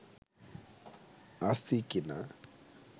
আছি কিনা